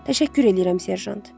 Təşəkkür eləyirəm, Serjant.